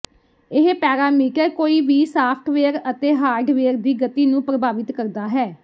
ਇਹ ਪੈਰਾਮੀਟਰ ਕੋਈ ਵੀ ਸਾਫਟਵੇਅਰ ਅਤੇ ਹਾਰਡਵੇਅਰ ਦੀ ਗਤੀ ਨੂੰ ਪ੍ਰਭਾਵਿਤ ਕਰਦਾ ਹੈ